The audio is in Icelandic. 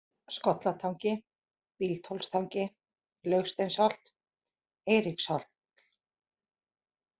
Skollatangi, Bíldhólstangi, Langsteinsholt, Eiríkshóll